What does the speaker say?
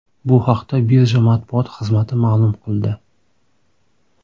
Bu haqda birja matbuot xizmati ma’lum qildi .